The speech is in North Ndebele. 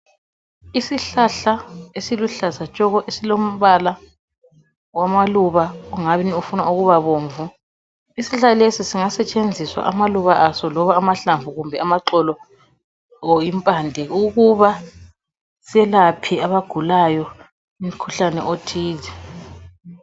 Isihlahla esiluhlaza tshoko esilombala wamaluba ongani ufuna ukuba bomvu. Isihlahla lesi singasetshenziswa amaluba aso ,loba amahlamvu kumbe amaxolo or impande ukuba selaphe abagulayo umkhuhlane othile.